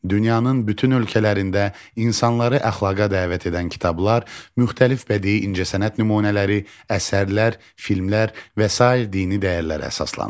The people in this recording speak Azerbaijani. Dünyanın bütün ölkələrində insanları əxlaqa dəvət edən kitablar, müxtəlif bədii incəsənət nümunələri, əsərlər, filmlər və sair dini dəyərlərə əsaslanır.